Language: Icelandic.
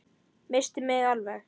Missti mig alveg!